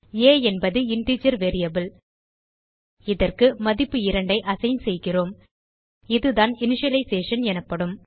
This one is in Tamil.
ஆ என்பது இன்டிஜர் வேரியபிள் இதற்கு மதிப்பு 2 ஐ அசைன் செய்கிறோம் இதுதான் இனிஷியலைசேஷன் எனப்படும்